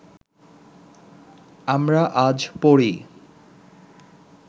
আমরা আজ পড়ি